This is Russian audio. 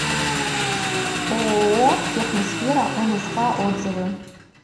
ооо техносфера нск отзывы